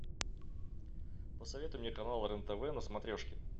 посоветуй мне канал рен тв на смотрешке